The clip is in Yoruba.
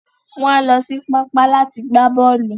Wọn á lọ sí pápá láti gbà bọ́ọ̀lù.